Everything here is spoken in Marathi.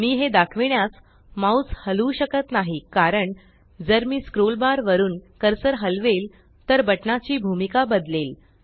मी हे दाखविण्यास माउस हलवू शकत नाही कारण जर मी स्क्रोल बार वरुन कर्सर हालवेल तर बटना ची भूमिका बदलेले